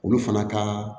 Olu fana ka